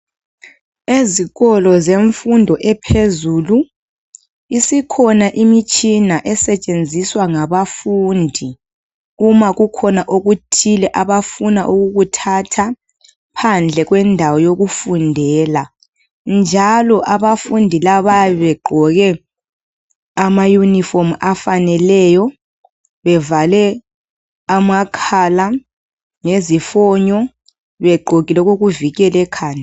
Ezikolo zemfundo ephezulu isikhona imitshina esetshenziswa ngabafundi uma kukhona okuthile abafuna ukukuthatha phandle kwendawo yokufundela njalo abafundi labo bayabe begqoke amayunifomu afaneleyo bevale amakhala ngezifonyo begqokile okokuvikela ekhanda.